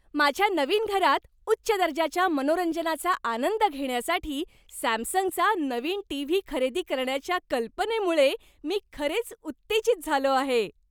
माझ्या नवीन घरात उच्च दर्जाच्या मनोरंजनाचा आनंद घेण्यासाठी सॅमसंगचा नवीन टीव्ही खरेदी करण्याच्या कल्पनेमुळे मी खरेच उत्तेजित झालो आहे.